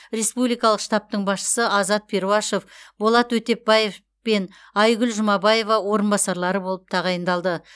республикалық штабтың басшысы азат перуашев болат өтепбаев пен айгүл жұмабаева орынбасарлары болып тағайындалды